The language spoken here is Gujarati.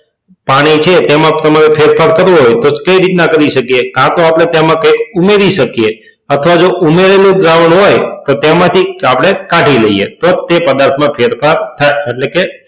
પાણી છે તેમાં તમારે ફેરફાર કરવો હોય તો કઈ રીતના કરી શકીએ કાં તો તેમાં આપણે કંઈક ઉમેરી શકીએ અથવા તો ઉમેરેલું દ્રાવણ હોય તો તેમાંથી આપણે કાઢી લઈએ તો જ તે પદાર્થમાં ફેરફાર થાય એટલે કે,